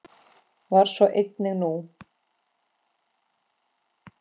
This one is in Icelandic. Var svo einnig nú.